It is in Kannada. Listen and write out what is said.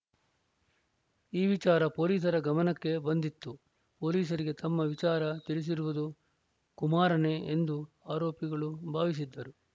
ಈ ವಿಚಾರ ಪೊಲೀಸರ ಗಮನಕ್ಕೆ ಬಂದಿತ್ತು ಪೊಲೀಸರಿಗೆ ನಮ್ಮ ವಿಚಾರ ತಿಳಿಸಿರುವುದು ಕುಮಾರನೇ ಎಂದು ಆರೋಪಿಗಳು ಭಾವಿಸಿದ್ದರು